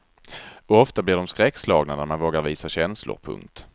Och ofta blir de skräckslagna när man vågar visa känslor. punkt